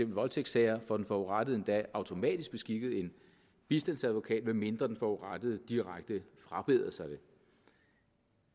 voldtægtssager får den forurettede endda automatisk beskikket en bistandsadvokat medmindre den forurettede direkte frabeder sig det